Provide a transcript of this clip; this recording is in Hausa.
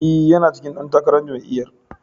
E, yana cikin ɗan takarar jami'yar.